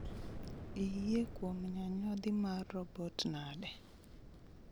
Iyie kuom nyanyodhi mar robot nade